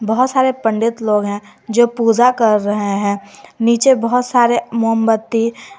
बहुत सारे पंडित लोग हैं जो पूजा कर रहे हैं नीचे बहुत सारे मोमबत्ती--